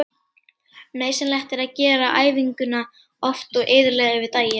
Nauðsynlegt er að gera æfinguna oft og iðulega yfir daginn.